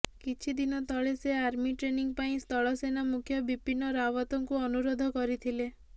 କିଛି ଦିନ ତଳେ ସେ ଆର୍ମି ଟ୍ରେନିଂ ପାଇଁ ସ୍ଥଳ ସେନାମୁଖ୍ୟ ବିପିନ ରାଓ୍ୱତଙ୍କୁ ଅନୁରୋଧ କରିଥିଲେ